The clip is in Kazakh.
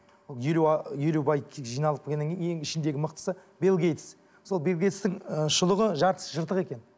ол елу елу бай тек жиналып келгеннен кейін ең ішіндегі мықтысы бил гейтс мысалы бил гейтстің ы шұлығы жартысы жыртық екен